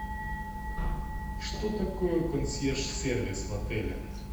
что такое консьерж сервис в отеле